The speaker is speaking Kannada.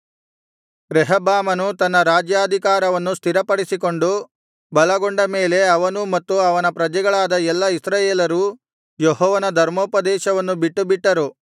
ರೆಹಬ್ಬಾಮನು ತನ್ನ ರಾಜ್ಯಾಧಿಕಾರವನ್ನು ಸ್ಥಿರಪಡಿಸಿಕೊಂಡು ಬಲಗೊಂಡ ಮೇಲೆ ಅವನೂ ಮತ್ತು ಅವನ ಪ್ರಜೆಗಳಾದ ಎಲ್ಲಾ ಇಸ್ರಾಯೇಲರೂ ಯೆಹೋವನ ಧರ್ಮೋಪದೇಶವನ್ನು ಬಿಟ್ಟುಬಿಟ್ಟರು